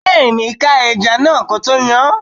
Bẹẹni, ká ẹja náà ko tó yán.